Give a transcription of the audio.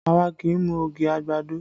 Àwa kì í mu ogi àgbàdo